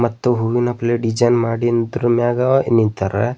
ಮತ್ತು ಹೂವಿನ plate design ಮಾಡಿ ಇದ್ರು ಮ್ಯಾಗ ನಿಂತರ.